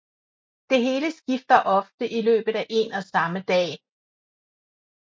Det hele skifter ofte i løbet af én og samme dag